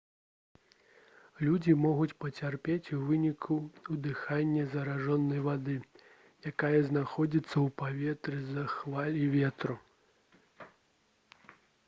людзі могуць пацярпець у выніку ўдыхання заражанай вады якая знаходзіцца ў паветры з-за хваль і ветру